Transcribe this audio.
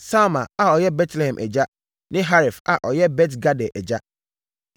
Salma a ɔyɛ Betlehem agya ne Haref a ɔyɛ Bet-Gader agya.